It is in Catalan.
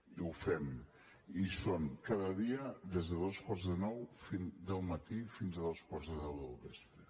i ho fem hi són cada dia des de dos quarts de nou del matí fins a dos quarts de deu del vespre